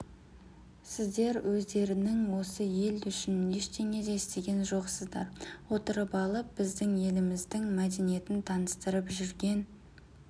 сіздер өздерінің осы ел үшін ештеңе де істеген жоқсыздар отырып алып біздің елімізідң мәдениетін таныстырып жүрген